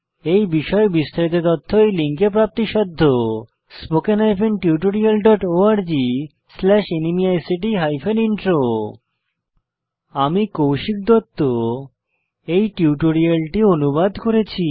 এই বিষয়ে বিস্তারিত তথ্য এই লিঙ্কে প্রাপ্তিসাধ্য spoken hyphen tutorial dot org slash ন্মেইক্ট হাইফেন ইন্ট্রো আমি কৌশিক দত্ত এই টিউটোরিয়ালটি অনুবাদ করেছি